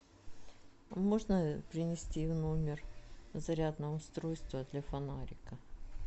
можно принести в номер зарядное устройство для фонарика